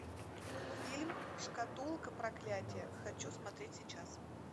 фильм шкатулка проклятия хочу смотреть сейчас